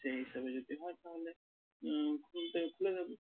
সেই হিসেবে যদি হয় তাহলে উহ খুলতে খুলে দেবে।